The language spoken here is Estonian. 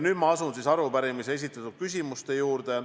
Nüüd ma asun arupärimises esitatud küsimuste juurde.